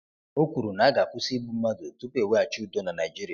O kwuru na a ga-akwụsị igbu mmadụ tupu e weghachi udo na Naịjirịa.